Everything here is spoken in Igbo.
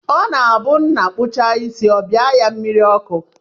Ọ na-abụ nna kpuchaa isi, ọ bịa ya mmiri ọkụ